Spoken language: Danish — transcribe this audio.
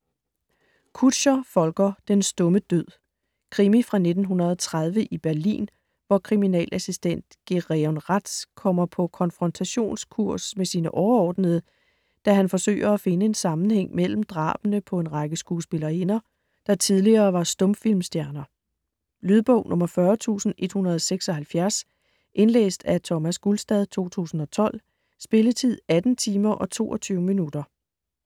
Kutscher, Volker: Den stumme død Krimi fra 1930 i Berlin, hvor kriminalassistent Gereon Rath kommer på konfrontationskurs med sine overordnede, da han forsøger at finde en sammenhæng mellem drabene på en række skuespillerinder, der tidligere var stumfilmstjerner. Lydbog 40176 Indlæst af Thomas Gulstad, 2012. Spilletid: 18 timer, 22 minutter.